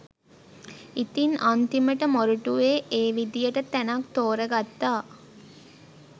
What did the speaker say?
ඉතින් අන්තිමට මොරටුවේ ඒ විදිහට තැනක් තෝරගත්තා